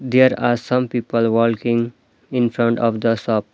There are some people walking infront of the shop .